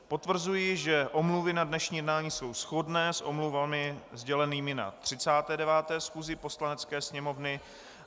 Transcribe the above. Potvrzuji, že omluvy na dnešní jednání jsou shodné s omluvami sdělenými na 39. schůzi Poslanecké sněmovny.